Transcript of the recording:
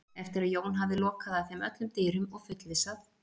Eftir að Jón hafði lokað að þeim öllum dyrum og fullvissað